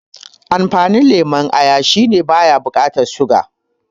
Amfanin lemon aya shine baya bukatan siga